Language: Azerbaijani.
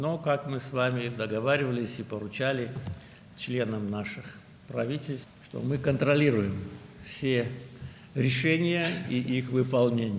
Lakin, sizinlə razılaşdığımız və hökumətlərimizin üzvlərinə tapşırdığımız kimi, biz bütün qərarları və onların icrasını nəzarətdə saxlayırıq.